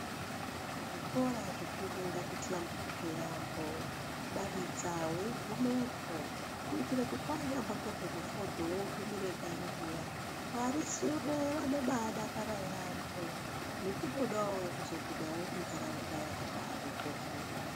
Zvikora zvikuru ngazvihlamburike yaambo, kudadidza weigumepo kuitire kuti wanyambotorwe mufodho wotumire kanyi zviya, varisure vanobaadakara yaambo. Nekutodawo kuzogumawo kuntaraunda yakadaro koofunda.